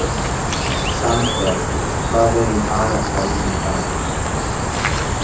Sandel, hvað er í dagatalinu í dag?